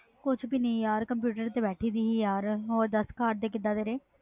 ਕੁਛ ਵੀ ਨਹੀਂ ਯਾਰ ਕੰਪਿਊਟਰ ਤੇ ਬੈਠੀ ਸੀ ਹੋਰ ਦਸ ਘਰ ਦੇ ਕੀਦਾ ਤੇਰੇ